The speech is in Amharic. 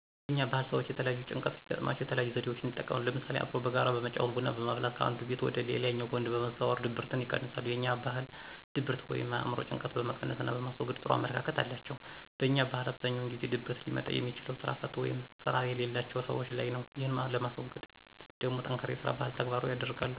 የኛ ባህል ሰወች የተለያየ ጭንቀት ሲገጥማቸው የተለያዩ ዘዴወችን ይጠቀማሉ ለምሳሌ፦ አብሮ በጋራ በመጫወት፣ ቡና በማፍላት ከአንዱ ቤት ወደ ሌላኛው ወንድ በመዘዋወር ድብርትን ይቀንሳሉ። የኛ ባህል ድብርት ወይም የአእምሮ ጭንቀጥን በመቀነስና በማስወገድ ጥሩ አመለካከት አላቸው። በኛ ባህል አብዛኛውን ጊዜ ድብርት ሊመጣ የሚችለው ስራ ፈት ወይም ስራ የለላቸው ሰወች ላይ ነው። ይህን ለማስወገድ ደሞ ጠንካራ የስራ ባህን ተግባራዊ ያደርጋሉ።